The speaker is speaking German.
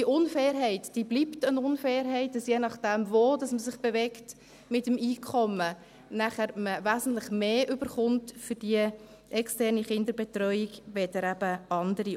Die mangelnde Fairness bleibt mangelnde Fairness, weil man je nachdem, wo man sich mit dem Einkommen bewegt, wesentlich mehr bekommt für die externe Kinderbetreuung als eben andere.